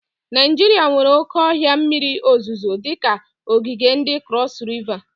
Naijiria nwere oke ohia mmiri ozuzo dika ogige ndi Crosu Riva.